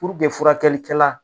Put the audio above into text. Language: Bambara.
furakɛlikɛla.